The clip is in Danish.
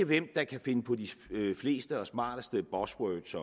hvem der kan finde på de fleste og smarteste buzzwords